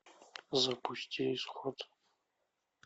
запусти исход